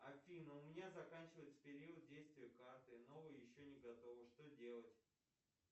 афина у меня заканчивается период действия карты новая еще не готова что делать